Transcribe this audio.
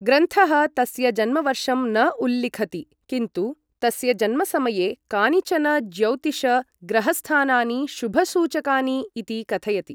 ग्रन्थः तस्य जन्मवर्षं न उल्लिखति, किन्तु तस्य जन्मसमये कानिचन ज्यौतिष ग्रहस्थानानि शुभसूचकानि इति कथयति।